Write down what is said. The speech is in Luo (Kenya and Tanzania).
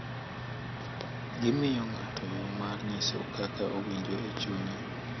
Gimiyo ng’ato yo mar nyiso kaka owinjo e chunye,